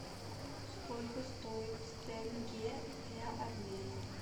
сколько стоит тенге для обмена